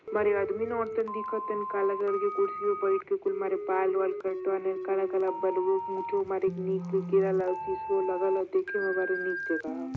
मारे अदमी न औरतन दिखत हइन। काला कलर की कुर्सी पे बैठ के कुल मारे बाल-वाल कटवा लेन काला-काला सिसओ लगल ह। देखे मे बड़ा नीक जगह ह।